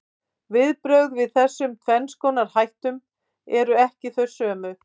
Viðbrögðin við þessum tvenns konar hættum eru ekki þau sömu.